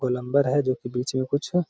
गोलंबर है जो कि बीच में कुछ --